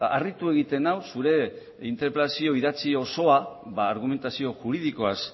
harritu egiten nau zure interpelazio idatzi osoa argumentazio juridikoaz